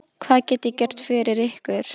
Hvað get ég gert fyrir ykkur?